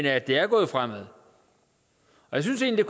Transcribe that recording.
at det er gået fremad jeg synes egentlig